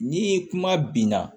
Ni kuma binna